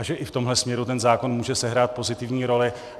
A že i v tomhle směru ten zákon může sehrát pozitivní roli.